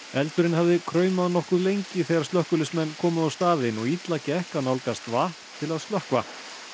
eldurinn hafði kraumað nokkuð lengi þegar slökkviliðsmenn komu á staðinn og illa gekk að nálgast vatn til að slökkva